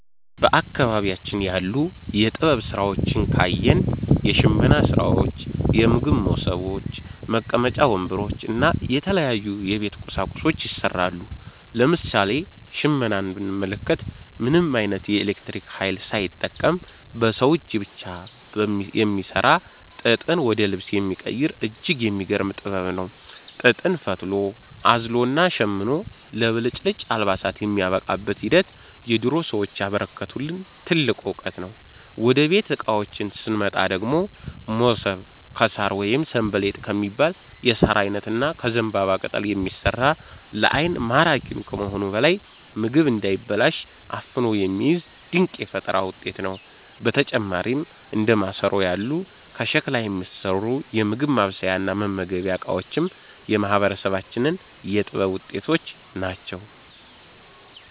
በአካባቢያችን ያሉ የጥበብ ሥራዎችን ካየን፣ የሽመና ሥራዎች፣ የምግብ መሶቦች፣ መቀመጫ ወንበሮች እና የተለያዩ የቤት ቁሳቁሶች ይሠራሉ። ለምሳሌ ሽመናን ብንመለከት፣ ምንም ዓይነት የኤሌክትሪክ ኃይል ሳይጠቀም በሰው እጅ ብቻ የሚሠራ፣ ጥጥን ወደ ልብስ የሚቀይር እጅግ የሚገርም ጥበብ ነው። ጥጥን ፈትሎ፣ አዝሎና ሸምኖ ለብልጭልጭ አልባሳት የሚያበቃበት ሂደት የድሮ ሰዎች ያበረከቱልን ትልቅ ዕውቀት ነው። ወደ ቤት ዕቃዎች ስንመጣ ደግሞ፣ መሶብ ከሣር ወይም 'ሰንበሌጥ' ከሚባል የሣር ዓይነት እና ከዘንባባ ቅጠል የሚሠራ፣ ለዓይን ማራኪ ከመሆኑም በላይ ምግብ እንዳይበላሽ አፍኖ የሚይዝ ድንቅ የፈጠራ ውጤት ነው። በተጨማሪም እንደ ማሰሮ ያሉ ከሸክላ የሚሠሩ የምግብ ማብሰያና መመገቢያ ዕቃዎችም የማህበረሰባችን የጥበብ ውጤቶች ናቸው።